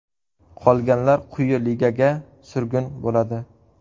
Qolganlar quyi ligaga surgun bo‘ladi.